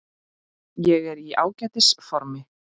Ég er í ágætis formi.